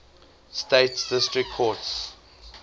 states district courts